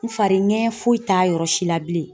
N fari ŋɛɲɛ foyi t'a yɔrɔ si la bilen.